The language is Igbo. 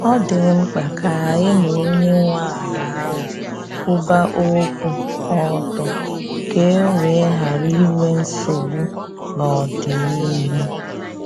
Ọ dị mkpa ka anyị na onye nwe ala ahụ kwuba okwu ọtọ ka e wee ghara inwe nsogbu n’ọdịnihu.